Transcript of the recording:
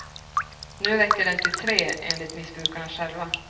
Nu räcker den till tre, enligt missbrukarna själva.